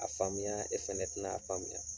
A faamuya o fana tɛna a faamuya.